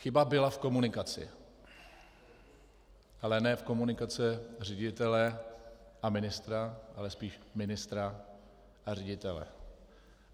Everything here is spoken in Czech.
Chyba byla v komunikaci, ale ne v komunikaci ředitele a ministra, ale spíš ministra a ředitele.